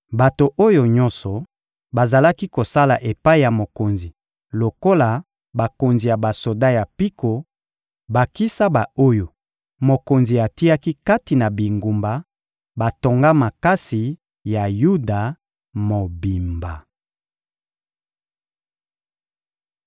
Bato oyo nyonso bazalaki kosala epai ya mokonzi lokola bakonzi ya basoda ya mpiko, bakisa ba-oyo mokonzi atiaki kati na bingumba batonga makasi ya Yuda mobimba.